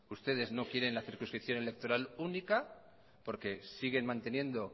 ustedes no quieren la circunscripción electoral única porque siguen manteniendo